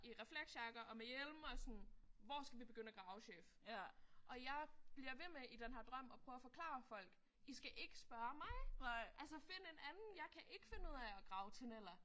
I refleksjakker og med hjelme og sådan hvor skal vi begynde at grave chef. Og jeg bliver ved med i den her drøm at prøve at forklare folk I skal ikke spørge mig. Altså find en anden. Jeg kan ikke finde ud af at grave tunneller